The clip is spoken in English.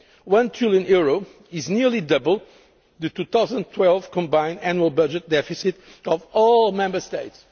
EUR 1 trillion is nearly double the 2012 combined annual budget deficit of all Member States.